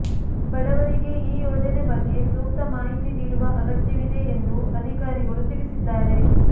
ಬಡವರಿಗೆ ಈ ಯೋಜನೆ ಬಗ್ಗೆ ಸೂಕ್ತ ಮಾಹಿತಿ ನೀಡುವ ಅಗತ್ಯವಿದೆ ಎಂದು ಅಧಿಕಾರಿಗಳು ತಿಳಿಸಿದ್ದಾರೆ